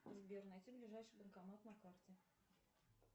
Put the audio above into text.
сбер найти ближайший банкомат на карте